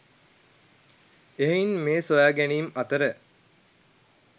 එහෙයින් මේ සොයාගැනීම් අතර